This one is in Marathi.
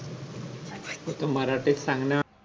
मराठी त सांग ना